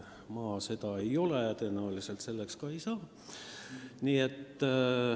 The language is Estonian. Ma seda ei ole ja tõenäoliselt selleks ka ei saa.